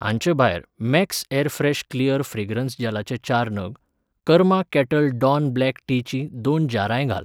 हांचे भायर Max airfresh clear fragrance जॅलाचे चार नग, कर्मा कॅटल डॉन ब्लॅक टीचीं दोन जारांय घाल.